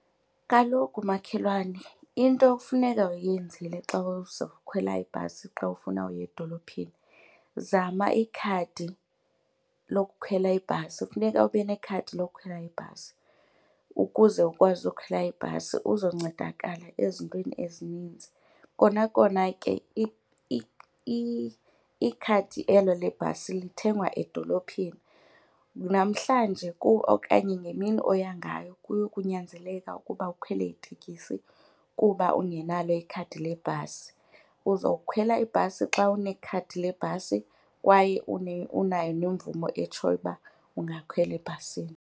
Kaloku makhelwane into ekufuneka uyenzile xa uzawukhwela ibhasi xa ufuna uya edolophini zama ikhadi lokukhwela ibhasi. Kufuneka ube nekhadi lokukhwela ibhasi ukuze kuba ukwazi ukukhwela ibhasi uzoncedakala ezintweni ezininzi. Kona kona ke ikhadi elo lebhasi lithengwa edolophini. Namhlanje okanye ngemini oya ngayo kuyokunyanzeleka ukuba ukhwele itekisi kuba ungenalo ikhadi lebhasi. Uzokhwela ibhasi xa unekhadi lebhasi kwaye unayo nemvume etshoyo uba ungakhwela ebhasini.